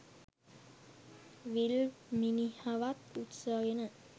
විල් මිනිහවත් උස්සගෙන